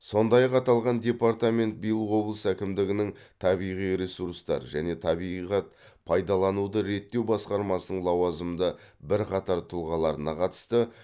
сондай ақ аталған департамент биыл облыс әкімдігінің табиғи ресурстар және табиғат пайдалануды реттеу басқармасының лауазымды бірқатар тұлғаларына қатысты